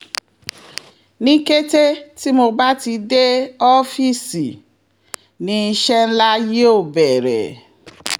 ní kété tí mo bá ti dé ọ́fíìsì ni iṣẹ́ ńlá yóò bẹ̀rẹ̀